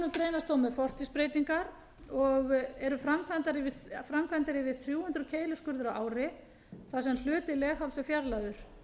þó með forstigsbreytingar og eru framkvæmdir yfir þrjú hundruð keiluskurðir á ári þar sem hluti legháls er fjarlægður